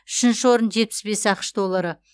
үшінші орын жетпіс бес ақш доллары